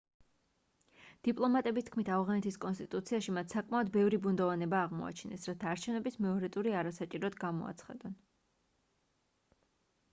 დიპლომატების თქმით ავღანეთის კონსტიტუციაში მათ საკმაოდ ბევრი ბუნდოვანება აღმოაჩინეს რათა არჩევნების მეორე ტური არასაჭიროდ გამოაცხადონ